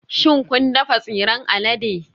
Shin kun dafa tsiran alade?